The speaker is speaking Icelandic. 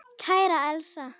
Kæra Elsa.